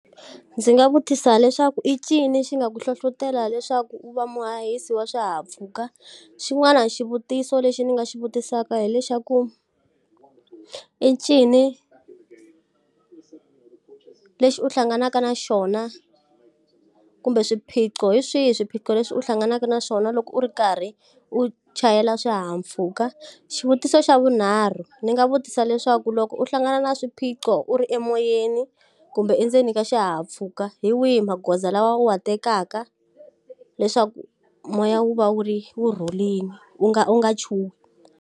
Ndzi nga vutisa leswaku i ncini xi nga ku hlohletela leswaku u va muhahisi wa swihahampfhuka? Xin'wana xivutiso lexi ndzi nga xi vutisaka hi lexi xa ku, i ncini lexi u hlanganaka na xona, kumbe swiphiqo hi swihi swiphiqo leswi u hlanganaka na swona loko u ri karhi u chayela swihahampfhuka? Xivutiso xa vunharhu ndzi nga vutisa leswaku loko u hlangana na swiphiqo u ri emoyeni, kumbe endzeni ka xihahampfhuka hi wihi magoza lawa u wa tekaka leswaku moya wu va wu wu rhurile, u nga u nga chuhi.